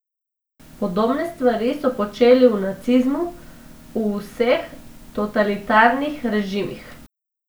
Podobne stvari so počeli v nacizmu, v vseh totalitarnih režimih.